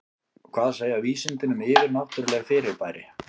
Hvað segja vísindin um yfirnáttúrleg fyrirbæri?